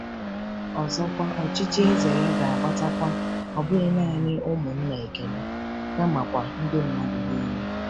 Ọzọkwa, ọchịchị eze ya ga-agbatakwa, ọ bụghị naanị ụmụnna Ekene, kamakwa “ndị mmadụ niile.”